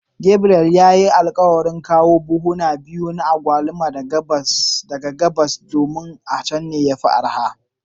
Gabriel ya yi alkawarin kawo buhu biyu na agwaluma daga gabas, domin akwai araha a can.